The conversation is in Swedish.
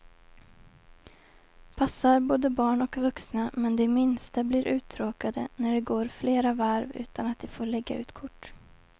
Passar både barn och vuxna, men de minsta blir uttråkade när det går flera varv utan att de får lägga ut kort.